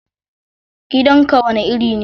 Gidanka wane iri ne?